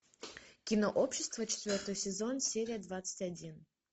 кино общество четвертый сезон серия двадцать один